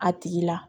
A tigi la